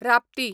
Rapti